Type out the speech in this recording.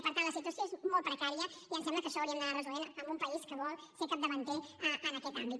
i per tant la situació és molt precària i ens sembla que això ho hauríem d’anar resolent en un país que vol ser capdavanter en aquest àmbit